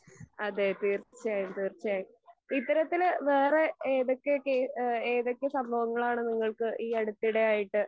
അതെ തീർച്ചയായും തീർച്ചയായും. ഇത്തരത്തിൽ വേറെ ഏതൊക്കെ കെ ഏതൊക്കെ സംഭവങ്ങളാണ് നിങ്ങൾക്ക് ഈ അടുത്തിടെ ആയിട്ട്